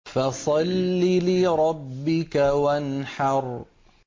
فَصَلِّ لِرَبِّكَ وَانْحَرْ